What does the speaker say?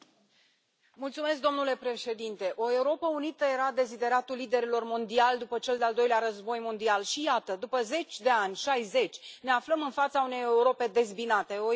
Domnule președinte, o Europă unită era dezideratul liderilor mondiali după cel de Al Doilea Război Mondial și, iată, după zeci de ani, 60, ne aflăm în fața unei Europe dezbinate, o Europă în criză.